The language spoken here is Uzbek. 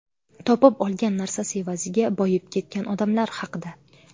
Topib olgan narsasi evaziga boyib ketgan odamlar haqida.